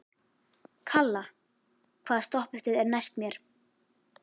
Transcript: Kalla, hvaða stoppistöð er næst mér?